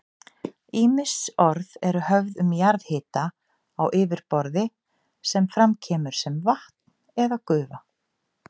Ýmis orð eru höfð um jarðhita á yfirborði sem fram kemur sem vatn eða gufa.